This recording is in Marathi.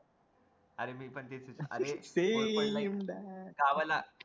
अरे मी पण तेच